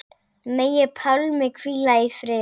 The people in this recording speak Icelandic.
Megi Pálmi hvíla í friði.